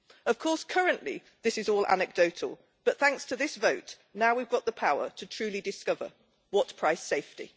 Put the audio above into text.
Of course, currently this is all anecdotal, but thanks to this vote, now we've got the power to truly discover what price safety.